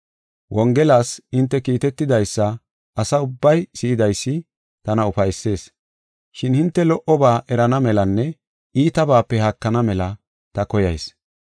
Wongelas hinte kiitetidaysa asa ubbay si7idaysi tana ufaysees. Shin hinte lo77oba erana melanne iitabaape haakana mela ta koyayis.